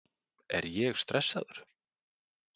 Er ég stressaður?